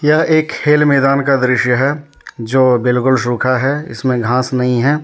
क्या एक खेल मैदान का दृश्य है जो बिल्कुल सूखा है इसमें घास नहीं है।